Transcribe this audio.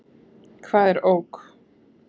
Hvað er ok?